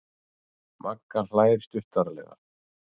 Magga hlær stuttaralega.